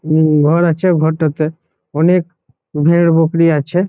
উম ঘর আছে ঘরটাতে অনেক ভের বকরি আছে ।